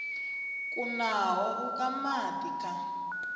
kunaho u ka madi kha